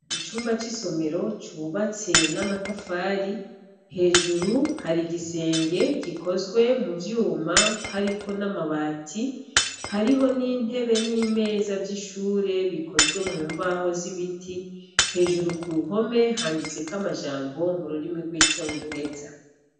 Icumba c'isomero cubatse n'amatafari, hejuru hari igisenge gikozwe mu vyuma hariko n'amabati, hariho n'intebe n'imeza vy'ishure bikozwe mu mbaho z'ibiti, hejuru ku mpome handitseko amajambo mu rurimi rw'icongereza.